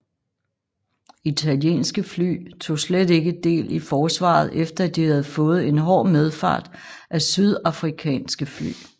Italienske fly tog slet ikke del i forsvaret efter at de havde fået en hård medfart af sydafrikanske fly